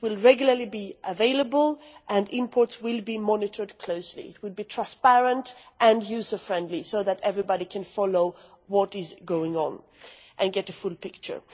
It will regularly be available, and imports will be monitored closely. It would be transparent and user-friendly, so that everybody can follow what is going on and get a full picture.